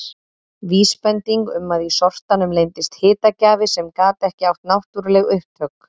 Vísbending um að í sortanum leyndist hitagjafi sem gat ekki átt náttúruleg upptök.